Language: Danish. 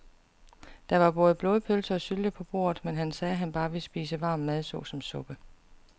Der var både blodpølse og sylte på bordet, men han sagde, at han bare ville spise varm mad såsom suppe.